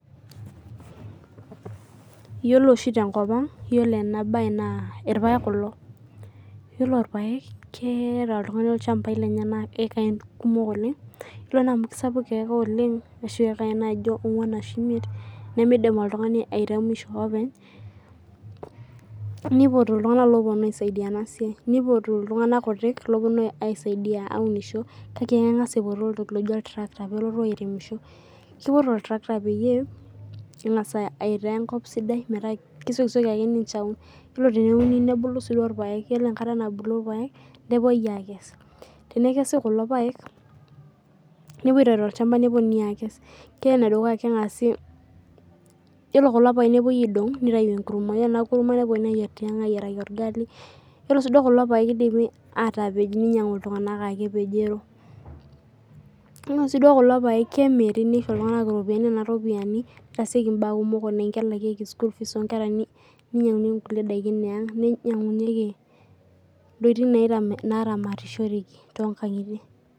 Iyiolo oshi te nkop ang iyiolo ena bae naa irpaek kulo. Ore irpaek naa ketaa oltung'ani olchamba lenye naa eakain kumok oleng'. Iyiolo naa amu kisapuk eekaa oleng' oshi eakain naijo onguan ashu imiet nemidim oltung'ani airemsiho openy nipotu iltung'ana opuonu aisaidia ena siai. Nipotu iltung'ana kutik lopuonu aisaidia aunisho kake kengas aipotu oltoki loji oltirakita pelotu airemisho. Kipotu oltakitari pee engas aitaa enkop sidai meeta kesiokisioki ake ninche aun. Ore teneuni nebulu sii duo irpaek ore enkata nabulu irpaek nepuoi akes tenekesi kulo paek nipoi aitayu tolchamba nepuoninui akes. Ore ene dukuya kengasi iyiolo kulo paek kepuoi idong ore ina kurma nepuonini ayier tiang' ayieri orgali. Ore sii kulo paek nidim atapej iltung'ana ake epejoro. Iyiolo sii kulo paek keniri nisho iltung'ana iropiani ore nena ropiani nitaasieki ibaa kumok anaa kelakieki school fees oo nkera ninyanguni kukie daikin ee ang' ninyangunyieki intokitin naramatishoreki too nkang'itie.